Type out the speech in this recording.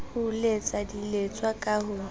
ho letsa diletswa ka ho